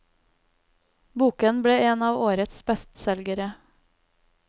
Boken ble en av årets bestselgere.